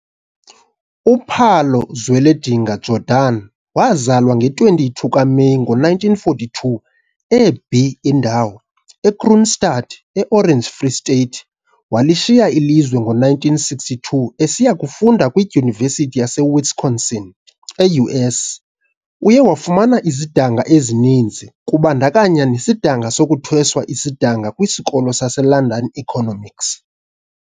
U-Pallo Zweledinga Jordan wazalwa nge-22 kaMeyi ngo-1942 e-B Indawo, e-Kroonstad, e-Orange Free State. Walishiya ilizwe ngo-1962 esiya kufunda kwiDyunivesithi yaseWisconsin e-U.S. Uye wafumana izidanga ezininzi kubandakanya nesidanga sokuthweswa isidanga kwisikolo seLondon Economics.